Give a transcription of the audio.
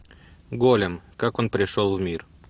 голем как он пришел в мир